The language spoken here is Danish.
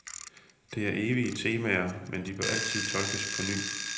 Det er evige temaer, men de bør altid tolkes på ny.